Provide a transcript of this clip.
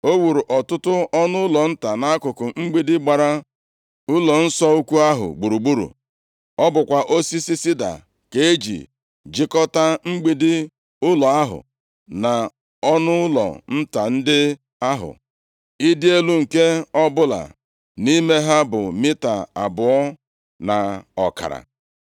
O wuru ọtụtụ ọnụụlọ nta nʼakụkụ mgbidi gbara ụlọnsọ ukwu ahụ gburugburu. Ọ bụkwa osisi sida ka e ji jikọta mgbidi ụlọ ahụ na ọnụụlọ nta ndị ahụ. Ịdị elu nke ọbụla nʼime ha bụ mita abụọ na ọkara.